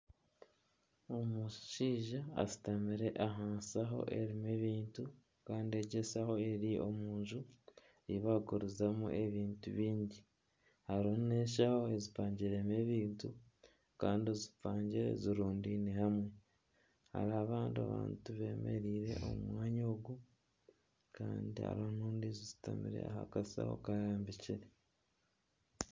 Omushaija ashutamire aha nshaho erimu ebintu kandi egi enshaho eri omunju eyi barikugurizamu ebintu byingi. Harimu na enshaho ezipangiremu ebintu kandi zipangire zirundaine hamwe. Hariho abandi abantu bemereire omu mwanya ogu kandi hariho na ezishutamire aha kashaho karambikire.